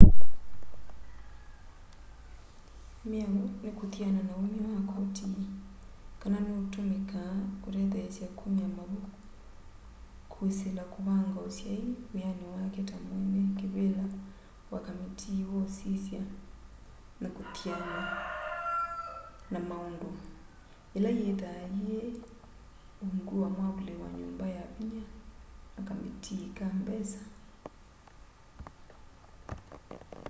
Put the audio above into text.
mĩao nĩ kũthĩana na ũmya wa kotĩ kana nĩ ũtũmĩkaa kũtetheesya kũmya mavũ kwĩsĩla kũvanga ũsyaĩ wĩyanĩ wake ta mwene kĩvĩla wa kamĩtĩĩ wa kũsĩsya na kũthĩana na maũndũ ĩla yĩthaa yĩ ũngũ wa mwavũlĩ wa nyũmba ya vĩnya na kamĩtĩĩ ka mbesa